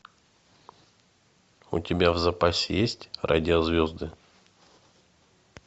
у тебя в запасе есть радиозвезды